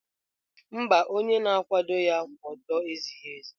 Mba, onye na-akwado ya kwụ ọtọ ezighi ezi.